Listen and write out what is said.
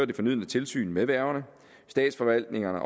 det fornødne tilsyn med værgerne statsforvaltningernes